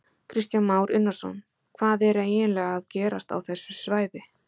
Kristján Már Unnarsson: Hvað er eiginlega að gerast á þessu svæði?